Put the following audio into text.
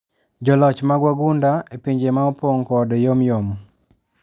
Joloch mag wagunda ,epinje maopong kod yomyom.